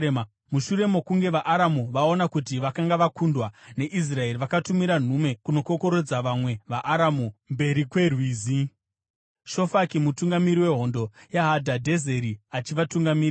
Mushure mokunge vaAramu vaona kuti vakanga vakundwa neIsraeri vakatumira nhume kunokokorodza vamwe vaAramu mberi kweRwizi, Shofaki mutungamiri wehondo yaHadhadhezeri achivatungamirira.